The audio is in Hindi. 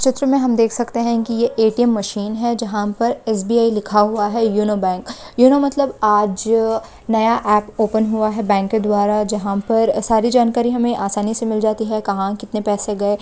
चित्र में हम देख सकते हैं कि यह ए.टी.एम. मशीन है जहां पर एस.बी.आई. लिखा हुआ है योनो बैंक यूनो मतलब आज-अ नया ऐप ओपन हुआ है बैंक के द्वारा जहां पर सारी जानकारी हमें आसानी से मिल जाती है कहां कितने पैसे गए--